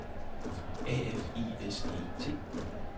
A F I S E T